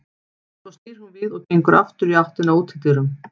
Svo snýr hún við og gengur aftur í áttina að útidyrum.